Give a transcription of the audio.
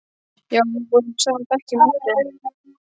Já, við vorum í sama bekk í menntó.